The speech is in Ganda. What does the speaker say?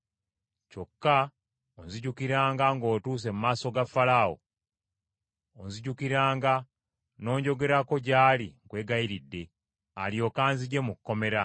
Kyokka onzijukiranga ng’otuuse mu maaso ga Falaawo, onzijukiranga n’onjogerako gy’ali nkwegayiridde, alyoke anzigye mu kkomera.